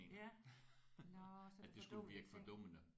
Ja nåh så det er fordummende ting